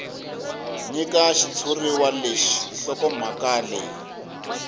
nyika xitshuriwa lexi nhlokomhaka leyi